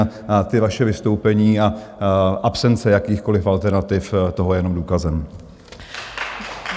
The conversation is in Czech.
A ta vaše vystoupení a absence jakýchkoli alternativ toho je jenom důkazem.